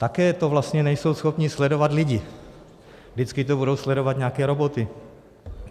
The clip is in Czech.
Také to vlastně nejsou schopni sledovat lidé, vždycky to budou sledovat nějaké roboty.